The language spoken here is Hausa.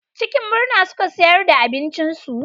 Cikin murna suka siyar da abincinsu.